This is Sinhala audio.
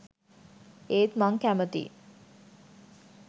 ඒත් මං කැමතියි